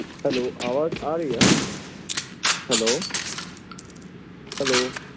Hello ਆਵਾਜ਼ ਆ ਰਹੀ ਆ Hello